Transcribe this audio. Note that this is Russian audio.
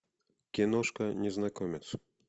киношка незнакомец